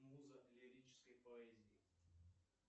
муза лирической поэзии